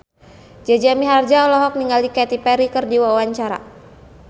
Jaja Mihardja olohok ningali Katy Perry keur diwawancara